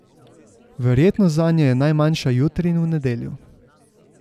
Verjetnost zanje je najmanjša jutri in v nedeljo.